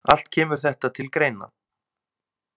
Allt kemur þetta til greina.